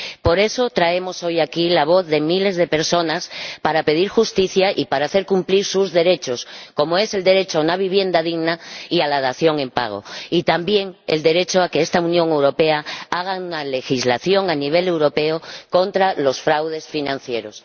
Por eso, traemos hoy aquí la voz de miles de personas, para pedir justicia y para hacer cumplir sus derechos, como es el derecho a una vivienda digna y a la dación en pago y, también, el derecho a que esta Unión Europea haga una legislación a escala europea contra los fraudes financieros.